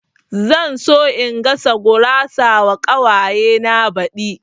Zan so in gasa gurawa wa ƙawaye na baɗi